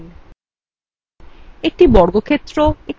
এই নিয়োগের জন্য এখানে tutorialএর বিরাম